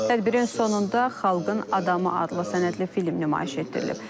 Tədbirin sonunda xalqın adamı adlı sənədli film nümayiş etdirilib.